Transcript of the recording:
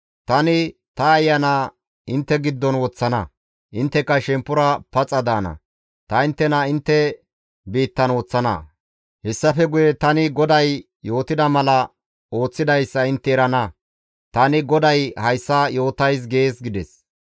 Tani ta Ayana intte giddon woththana; intteka shemppora paxa daana; ta inttena intte biittan woththana; hessafe guye tani GODAY yootida mala ooththidayssa intte erana; tani GODAY hayssa yootays› gees» gides.